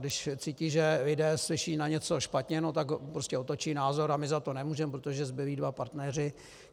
Když cítí, že lidé slyší na něco špatně, no tak prostě otočí názor a my za to nemůžeme, protože zbylí dva partneři...